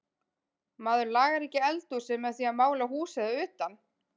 Maður lagar ekki eldhúsið með því að mála húsið að utan.